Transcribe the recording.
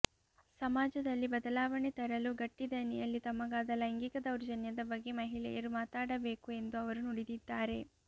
ಸಮಾಜದಲ್ಲಿ ಬದಲಾವಣೆ ತರಲು ಗಟ್ಟಿ ದನಿಯಲ್ಲಿ ತಮಗಾದ ಲೈಂಗಿಕ ದೌರ್ಜನ್ಯದ ಬಗ್ಗೆ ಮಹಿಳೆಯರು ಮಾತಾಡಬೇಕು ಎಂದು ಅವರು ನುಡಿದಿದ್ದಾರೆ